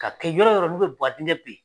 Ka kɛ yɔrɔ yɔrɔ n'i bɛ badingɛ ben.